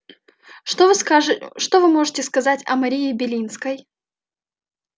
что вы можете сказать о марии белинской